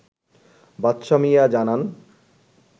বাদশাহ মিয়া জানান